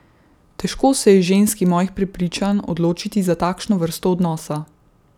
Težko se je ženski mojih prepričanj odločiti za takšno vrsto odnosa.